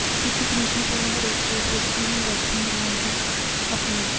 deputy commissioner ਵੱਲੋਂ ਹਰੇਕ ਯੋਗ ਵਿਅਕਤੀ ਨੂੰ ਵੈਕਸਿਨ ਲਗਾਉਣ ਦੀ ਅਪੀਲ